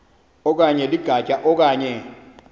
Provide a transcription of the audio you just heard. okanye ligatya okanye